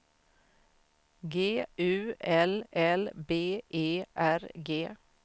G U L L B E R G